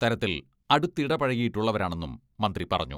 തരത്തിൽ അടുത്തിടപഴകിയിട്ടുള്ളവരാണെന്നും മന്ത്രി പറഞ്ഞു.